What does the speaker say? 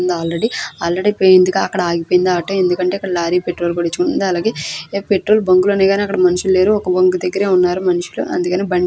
ఉంది already already పోయింది ఇక అక్కడ ఆగిపోయింది ఆటో ఎందుకంటే ఇక్కడ లారీ పెట్రోల్ కొట్టించుకుంటుంది అలాగే పెట్రోల్ బంకు లు ఉన్నాయి గాని అక్కడ మనుషులు లేరు ఒక బంకు దగ్గరే ఉన్నారు మనుషులు అందుకనే బండి --